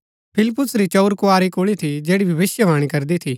फिलिप्पुस री चंऊर कुँवारी कुल्ळी थी जैड़ी भविष्‍यवाणी करदी थी